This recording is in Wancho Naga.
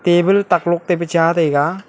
table taklok tai pe cha taiga.